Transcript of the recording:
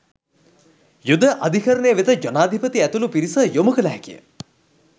යුද අධිකරණය වෙත ජනාධිපති ඇතුළු පිරිස යොමු කළ හැකිය